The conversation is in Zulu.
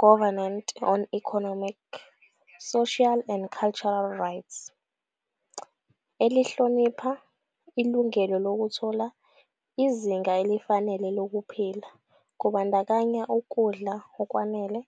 Covenant on Economic, Social and Cultural Rights, elihlonipha "ilungelo lokuthola izinga elifanele lokuphila, kubandakanya ukudla okwanele",